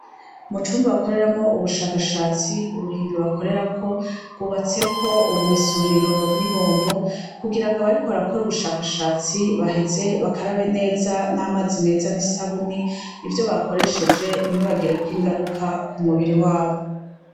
Mucumba bakoreramwo ubushakashatsi uruhimbi bakorerako rwubatseko ubumesuriro n'ibombo kugira abariko barakora ubushakashatsi baheze bakarabe n'amazi meza n'isabune ivyo bakoresheje ntibibagirire KO ingaruka kumubiri wabo.